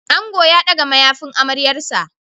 Ango ya ɗaga mayafin amaryarsa.